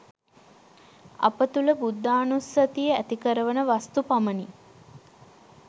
අප තුළ බුද්ධානුස්සතිය ඇතිකරවන වස්තු පමණි.